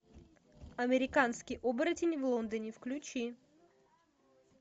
американский оборотень в лондоне включи